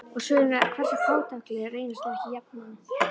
Og svörin hversu fátækleg reynast þau ekki jafnan!